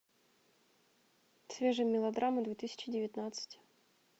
свежие мелодрамы две тысячи девятнадцать